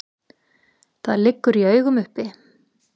Það liggur í augum uppi.